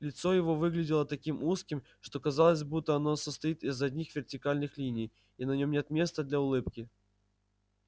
лицо его выглядело таким узким что казалось буд-то оно состоит из одних вертикальных линий и на нем нет места для улыбки